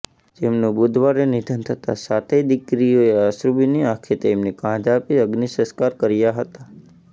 જેમનુ બુધવારે નિધન થતાં સાતેય દીકરીઓએ અશ્રૃભિની આંખે તેમને કાંધ આપી અગ્નિસંસ્કાર કર્યા હતા